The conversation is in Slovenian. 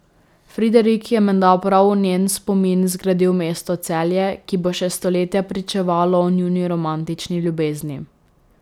Friderik je menda prav v njen spomin zgradil mesto Celje, ki bo še stoletja pričevalo o njuni romantični ljubezni.